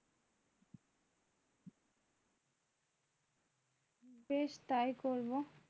বেশ তাই করবো